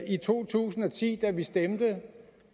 i to tusind og ti da vi stemte